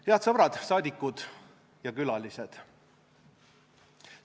Head sõbrad, saadikud ja külalised!